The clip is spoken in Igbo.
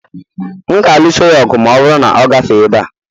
M ga-alụso ya ọgụ ma ọ bụrụ na ọ gafere ebe a